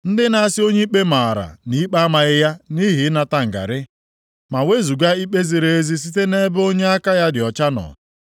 ndị na-asị onye ikpe maara nʼikpe amaghị ya nʼihi ịnata ngarị, + 5:23 \+xt Ọpụ 23:8; Ilu 17:15\+xt* ma wezuga ikpe ziri ezi site nʼebe onye aka ya dị ọcha nọ. + 5:23 \+xt Abụ 94:21\+xt*